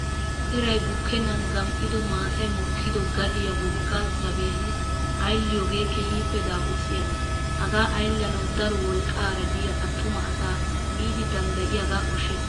Irayi bukkennan gam''ido maatayi mokkido gadiyaa wogga zaabbiyan ayilliyoogee keehippe daapurssiyaaba. Hagaa ayillanawu daro wolqqaara diyaa attuma asaa miidi danddayiyaagaa koshshes.